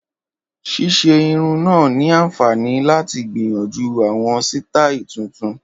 Ṣíṣe irun náà ni àǹfààní láti gbìyànjú àwọn sítáì tuntun